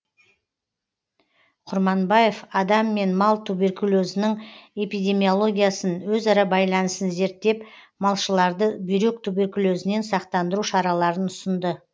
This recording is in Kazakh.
құрманбаев адам мен мал туберкулезінің эпидемиологиясын өзара байланысын зерттеп малшыларды бүйрек туберкулезінен сақтандыру шараларын ұсынды